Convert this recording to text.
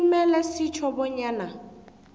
kumele sitjho bonyana